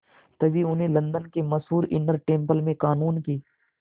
तभी उन्हें लंदन के मशहूर इनर टेम्पल में क़ानून की